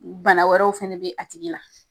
Bana wɛrɛw fana bɛ a tigi la.